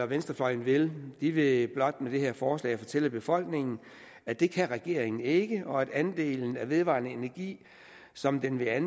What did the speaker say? venstrefløjen vil de vil blot med det her forslag fortælle befolkningen at det kan regeringen ikke og at andelen af vedvarende energi som den ved at